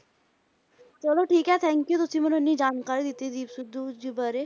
ਚਲੋ ਠੀਕ ਹੈ thank you ਤੁਸੀਂ ਮੈਨੂੰ ਇੰਨੀ ਜਾਣਕਾਰੀ ਦਿੱਤੀ ਦੀਪ ਸਿੱਧੂ ਜੀ ਬਾਰੇ।